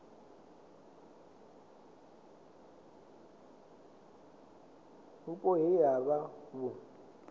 vhupo he ha vha vhu